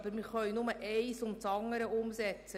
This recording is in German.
Wir können nur eines nach dem andern umsetzen.